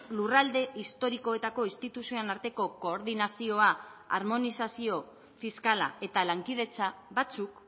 lurralde historikoetako instituzioen arteko koordinazioa harmonizazio fiskala eta lankidetza batzuk